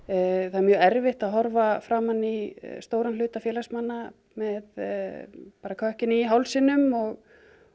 það er mjög erfitt að horfa framan í stóran hluta félagsmanna með kökkinn í hálsinum og